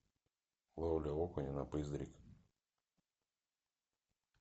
ловля окуня на пыздрик